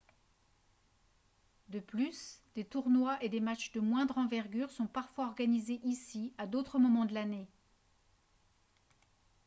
de plus des tournois et des matchs de moindre envergure sont parfois organisés ici à d'autres moments de l'année